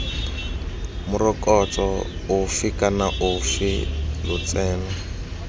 morokotso ofe kana ofe lotseno